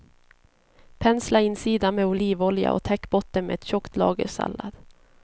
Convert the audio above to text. Pensla insidan med olivolja och täck botten med ett tjockt lager sallad.